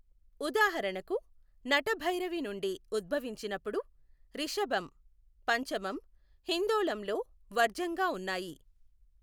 ఉదాహరణకు, నటభైరవి నుండి ఉద్భవించినప్పుడు రిషభం, పంచమం హిందోళంలో వర్జ్యంగా ఉన్నాయి.